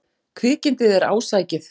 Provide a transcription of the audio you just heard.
Kvikindið er ásækið.